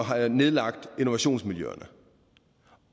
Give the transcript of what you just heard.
have nedlagt innovationsmiljøerne